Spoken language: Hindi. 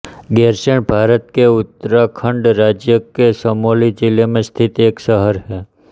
गैरसैंण भारत के उत्तराखण्ड राज्य के चमोली जिले में स्थित एक शहर है